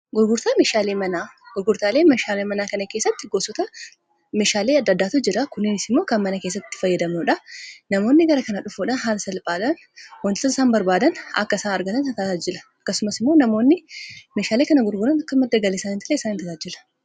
gurgurtaalee mishaalei manaa kan keessatti gosota mishaalii adda-addaatu jira kuniinis immoo kan mana keessatti fayyadamnuudha namoonni gara kana dhufuudhaa haala salphaalan wantasa isaan barbaadan akka isaan argatan isaa taataajjila akkasumas immoo namoonni mishaalei kana gurguran akka maddagaleisaa in talee san in taataajila